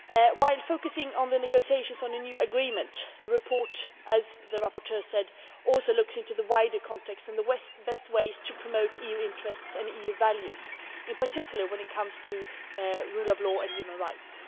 While focusing on the negotiations on a new agreement the report, as the rapporteur says, also looks into the wider context and the best ways to promote EU interests and EU values in particular when it comes to rule of law and human rights.